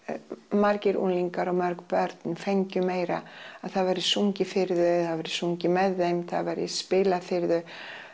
margir unglingar og mörg börn fengju meira að það væri sungið fyrir þau eða það væri sungið með þeim það væri spilað fyrir þau